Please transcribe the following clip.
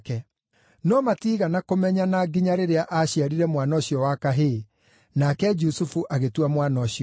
No matiigana kũmenyana nginya rĩrĩa aaciarire mwana ũcio wa kahĩĩ. Nake Jusufu agĩtua mwana ũcio Jesũ.